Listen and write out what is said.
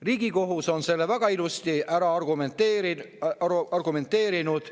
Riigikohus on selle väga ilusti ära argumenteerinud.